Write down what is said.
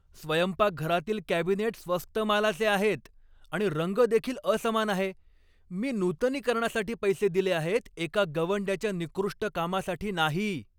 स्वयंपाकघरातील कॅबिनेट स्वस्त मालाचे आहेत आणि रंग देखील असमान आहे. मी नूतनीकरणासाठी पैसे दिले आहेत, एका गवंड्याच्या निकृष्ट कामासाठी नाही!